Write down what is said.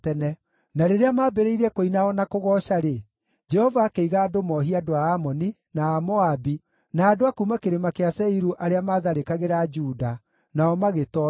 Na rĩrĩa maambĩrĩirie kũina o na kũgooca-rĩ, Jehova akĩiga andũ mohie andũ a Amoni, na a Moabi, na andũ a kuuma Kĩrĩma kĩa Seiru arĩa maatharĩkagĩra Juda, nao magĩtoorio.